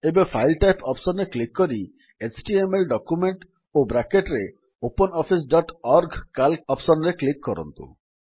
ଏବେ file type option ରେ click କରି ଏଚଟିଏମଏଲ ଡକ୍ୟୁମେଣ୍ଟ୍ ଓ ବ୍ରାକେଟ୍ ରେ OpenOffice dot O R G C A L C option ରେ କ୍ଲିକ୍ କରନ୍ତୁ